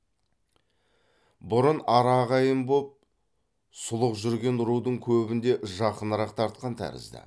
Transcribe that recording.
бұрын ара ағайын боп сұлық жүрген рудың көбін де жақынырақ тартқан тәрізді